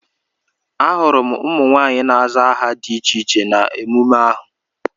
Ahụrụ m ụmụ nwaanyị na-aza aha dị iche iche na emume ahụ.